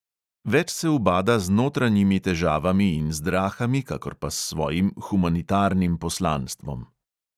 Več se ubada z notranjimi težavami in zdrahami kakor pa s svojim humanitarnim poslanstvom.